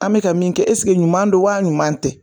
An bɛka min kɛ ɛseke ɲuman don wa ɲuman tɛ,